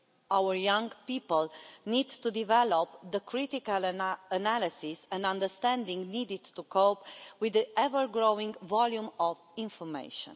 Our young people need to develop the critical analysis and understanding needed to cope with the ever-growing volume of information.